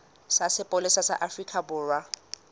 sa sepolesa sa afrika borwa